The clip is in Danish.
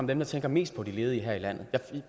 dem der tænker mest på de ledige her i landet